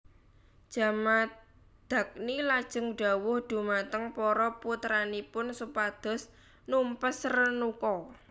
Jamadagni lajeng dhawuh dhumateng para putranipun supados numpes Renuka